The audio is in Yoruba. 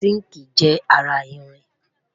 sinkii jé ará ìrìn